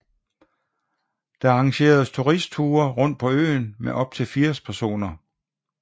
Der arrangeres turistture rundt på øen med op til 80 personer